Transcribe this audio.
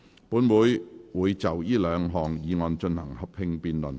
本會會就這兩項議案進行合併辯論。